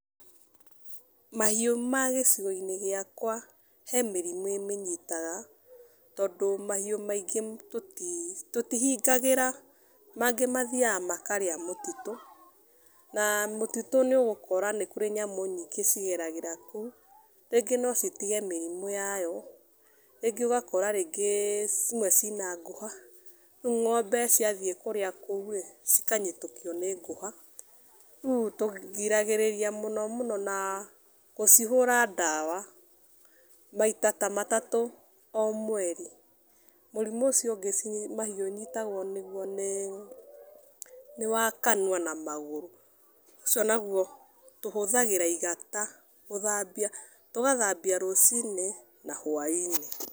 Mahiũ ma gĩcigo-inĩ gĩakwa he mĩrimũ ĩmĩnyitaga tondũ mahiũ maingĩ tũtihingagĩra, mangĩ mathiaga makarĩa mũtitũ na mũtitũ nĩũgũkora nĩkũrĩ nyamũ nyingĩ cigeragĩra kũu, rĩngĩ no citige mĩrimũ yayo. Rĩngĩ ũgakora rĩngĩ imwe ciĩna ngũha, rĩu ng'ombe ciathiĩ kũrĩa kũu-ĩ, cikanyitũkio nĩ ngũha, rĩu tũgiragĩrĩria mũno mũno na gũcihũra ndawa maita ta matatũ o mweri. Mũrimũ ũcio ũngĩ mahiũ ũnyitagwo nĩguo nĩ, nĩ wa kanua na magũrũ, ũcio naguo tũhũthagĩra igata gũthambia, tũgathambia rũcinĩ na hwainĩ.